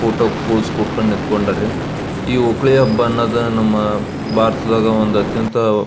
photo pose ಕೊಟ್ಕೊಂಡು ನಿಂಥಂಕೊಂಡರ್ ರೀ ಈ ಓಕುಳಿ ಹಬ್ಬನ್ನೋದು ನಮ್ಮ ಭಾರತದಾಗ ಒಂದು ಅತ್ಯಂತ ಒ --